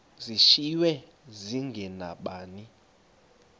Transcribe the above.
zishiywe zinge nabani